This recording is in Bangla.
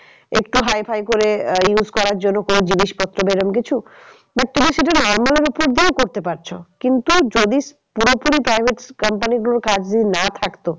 একটু hi-fi করে আহ use করার জন্য কোনো জিনিসপত্র বা এরম কিছু but তুমি সেটা normal দিয়েও করে পারছো। কিন্তু যদি পুরোপুরি private company গুলোর কাজ যদি না থাকতো